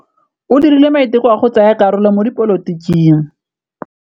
O dirile maitekô a go tsaya karolo mo dipolotiking.